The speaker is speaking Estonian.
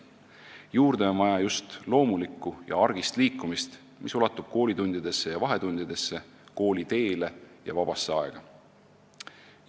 Juurde on vaja just loomulikku ja argist liikumist, mis ulatub koolitundidesse ja vahetundidesse, kooliteele ja vabasse aega.